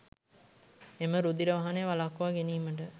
එම රුධිර වහනය වළක්වා ගැනීමට